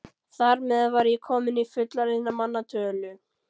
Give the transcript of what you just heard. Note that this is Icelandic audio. Þar með var ég komin í fullorðinna manna tölu.